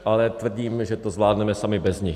Ale tvrdím, že to zvládneme sami bez nich.